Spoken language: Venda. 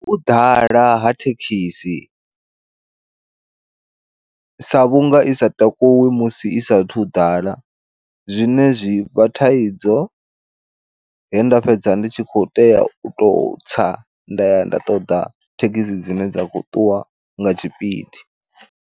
U ḓala ha thekhisi sa vhunga isa takuwi musi i sathu ḓala, zwine zwivha thaidzo he nda fhedza ndi tshi khou tea u to tsa nda ya nda ṱoḓa thekhisi dzine dza khou ṱuwa nga tshipidi.